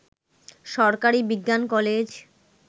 সরকারি বিজ্ঞান কলেজ